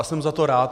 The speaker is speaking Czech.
A jsem za to rád.